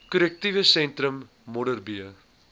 korrektiewe sentrum modderbee